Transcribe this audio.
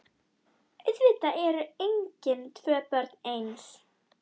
Auðvitað eru engin tvö börn eins.